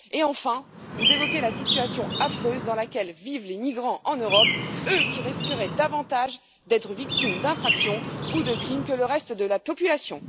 Enfin, vous évoquez la situation affreuse dans laquelle vivent les migrants en Europe, eux qui risqueraient davantage d'être victimes d'infractions ou de crimes que le reste de la population.